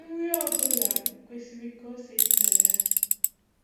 Nri ọbụla kwesịrị ka ose dị na ya.